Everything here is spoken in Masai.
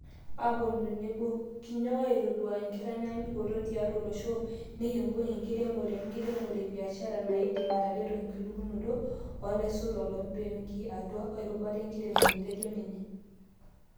"... aaponu tenebo, kinyook aitadou nkitanyanyukot tiatu oloshoo nekibung enkiremore wenkiremore ebiashara naaidim atareto enkilepunoto oolaisotuak loobenkii atua erubata enkiremore." Etejoo ninye.